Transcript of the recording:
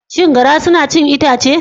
Shin garra suna cin itace?